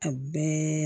A bɛɛ